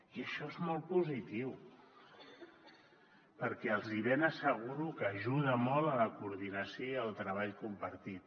i això és molt positiu perquè els hi ben asseguro que ajuda molt a la coordinació i al treball compartit